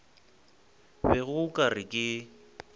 bego o ka re ke